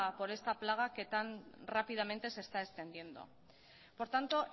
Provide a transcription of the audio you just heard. por esta plaga que tan rápidamente se está extendiendo por tanto